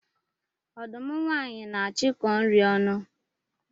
Ọdụm nwanyị na-achụkọ nri ọnụ